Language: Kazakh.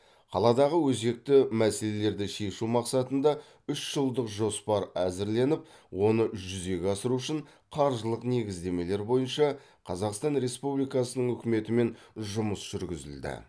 қаладағы өзекті мәселелерді шешу мақсатында үш жылдық жоспар әзірленіп оны жүзеге асыру үшін қаржылық негіздемелер бойынша қазақстан республикасы үкіметімен жұмыс жүргізілді